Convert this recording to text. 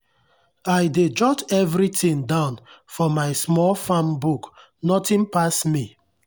i dey jot everything down for my small farm book nothing pass me.